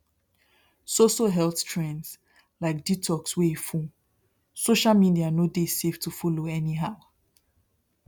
so so health trends like detox wey full social media no dey safe to follow anyhow